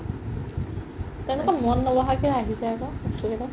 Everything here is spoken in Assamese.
তেনেকুৱা মন ন'বহা কে কিয় আহিছে আকৌ বস্তু কেইটা